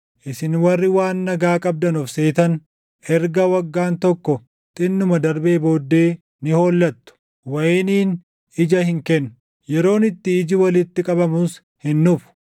Isin warri waan nagaa qabdan of seetan erga waggaan tokko xinnuma darbee booddee ni hollattu; wayiniin ija hin kennu; yeroon itti iji walitti qabamus hin dhufu.